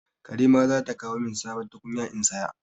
Karima za ta kawo min sabon tukunya in saya.